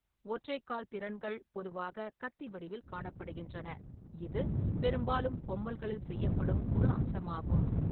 ஒற்றைக் கால் திறன்கள் பொதுவாக கத்தி வடிவில் காணப்படுகின்றன, இது பெரும்பாலும் பொம்மல்களில் செய்யப்படும் ஒரு அம்சமாகும்.